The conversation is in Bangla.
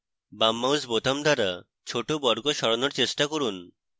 বাম mouse বোতাম দ্বারা ছোট বর্গ সরানোর চেষ্টা করুন